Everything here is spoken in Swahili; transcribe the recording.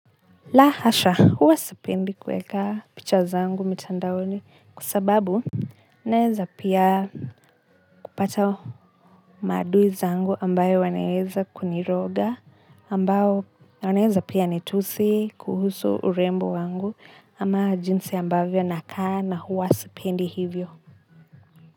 La hasha, huwa sipendi kuweka pichwa zangu mtandaoni kwa sababu naweza pia kupata maadui zangu ambaoo wanaweza kuniroga ambao wanaweza pia nitusi kuhusu urembo wangu ama jinsi ambavyo nakaa na huwa sipendi hivyo.